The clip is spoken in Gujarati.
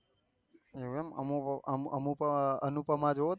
એવું એમ અમે અમે તો અનુક અનુપમા જોયો તમ